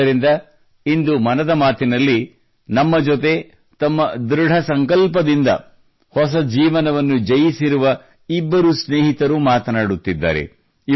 ಆದ್ದರಿಂದ ಇಂದು ಮನದ ಮಾತಿನಲ್ಲಿ ನಮ್ಮ ಜೊತೆ ತಮ್ಮ ಧೃಡ ಸಂಕಲ್ಪದಿಂದ ಹೊಸ ಜೀವನವನ್ನು ಜಯಿಸಿರುವಂಥ ಇಬ್ಬರು ಸ್ನೇಹಿತರು ಮಾತನಾಡುತ್ತಿದ್ದಾರೆ